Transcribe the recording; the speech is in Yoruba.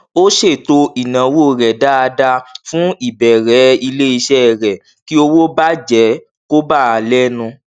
ó ṣètò ináwó rẹ dáadáa fún ìbẹrẹ iléiṣẹ rẹ kí owó bàjẹ kò bà á lẹnu